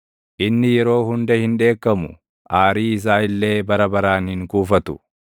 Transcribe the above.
Inni yeroo hunda hin dheekkamu; aarii isaa illee bara baraan hin kuufatu;